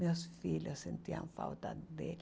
Meus filhos sentiam falta dele.